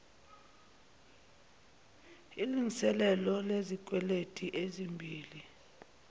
ilngiselelo lezikweleti ezimbi